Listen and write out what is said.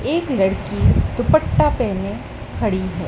एक लड़की दुपट्टा पहने खड़ी है।